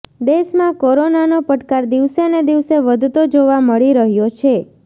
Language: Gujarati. દેશમાં કોરોનાનો પડકાર દિવસેને દિવસે વધતો જોવા મળી રહ્યો છે